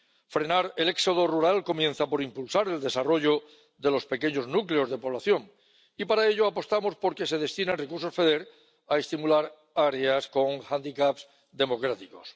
Frenar el éxodo rural comienza por impulsar el desarrollo de los pequeños núcleos de población y, para ello, apostamos por que se destinen recursos del FEDER a estimular áreas con hándicaps democráticos.